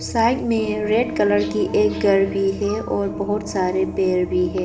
Side में red colour की एक घर भी है और बहुत सारे पेड़ भी है।